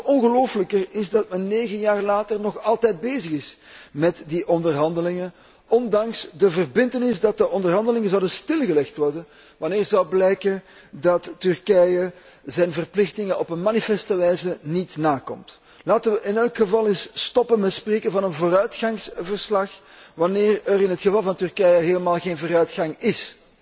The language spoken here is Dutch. Nog ongelooflijker is dat men negen jaar later nog altijd bezig is met die onderhandelingen, ondanks de verbintenis dat de onderhandelingen stilgelegd zouden worden wanneer zou blijken dat Turkije zijn verplichtingen op manifeste wijze niet nakomt. Laten wij in elk geval eens stoppen met te spreken van een vooruitgangsverslag wanneer er in het geval van Turkije helemaal geen vooruitgang ís.